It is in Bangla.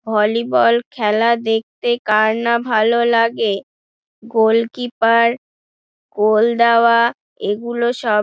ভলি বল খেলা দেখতে কার না ভালো লাগে। গোলকীপার গোল দেওয়া এগুলো সব--